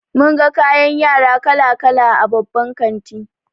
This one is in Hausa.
Mun ga kayan yara kala kala a babban kanti.